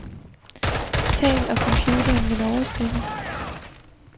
Tal, og computeren vil oversætte.